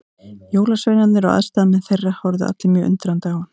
Jólasveinarnir og aðstoðarmenn þeirra horfðu allir mjög undrandi á hann.